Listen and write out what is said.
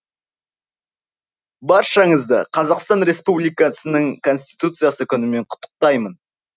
баршаңызды қазақстан республикасының конституциясы күнімен құттықтаймын